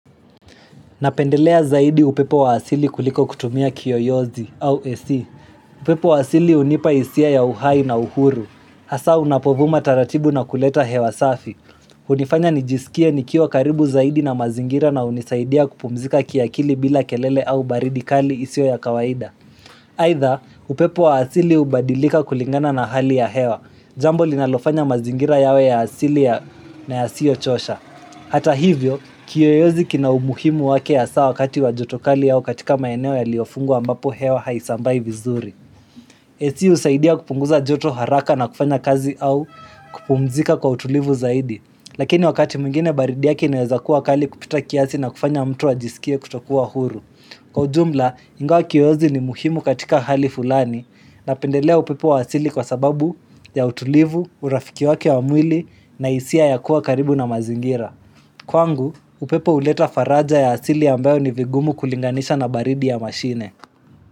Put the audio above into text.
Napendelea zaidi upepo wa asili kuliko kutumia kiyo yozi au esi. Upepo wa asili unipa isia ya uhai na uhuru. Hasa unapovuma taratibu na kuleta hewa safi. Unifanya nijisikia nikiwa karibu zaidi na mazingira na unisaidia kupumzika kiakili bila kelele au baridi kali isio ya kawaida. Haitha, upepo wa asili ubadilika kulingana na hali ya hewa. Jambo linalofanya mazingira yawe ya asili na yasio chosha. Hata hivyo, kiyoyozi kina umuhimu wake hasaa wakati wajotokali yao katika mayeneo ya liofungu ambapo heo haisambai vizuri Esi usaidia kupunguza joto haraka na kufanya kazi au kupumzika kwa utulivu zaidi Lakini wakati mwingine baridi yaki naweza kuwa kali kupita kiasi na kufanya mtu wa jisikie kutokuwa huru Kwa ujumla, ingao kiyozi ni muhimu katika hali fulani. Na pendelea upepo wa wasili kwa sababu ya utulivu, urafiki waki wa mwili na isia ya kuwa karibu na mazingira. Kwangu, upepo uleta faraja ya asili ambayo ni vigumu kulinganisha na baridi ya mashine.